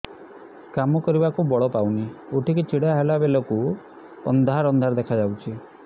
କାମ କରିବାକୁ ବଳ ପାଉନି ଉଠିକି ଛିଡା ହେଲା ବେଳକୁ ଅନ୍ଧାର ଅନ୍ଧାର ଦେଖା ଯାଉଛି